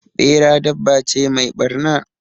Ɓera dabba ce mai ɓarna.